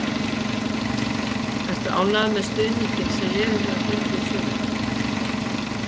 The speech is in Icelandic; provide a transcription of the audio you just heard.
Ertu ánægður með stuðninginn sem liðið hefur fengið í sumar?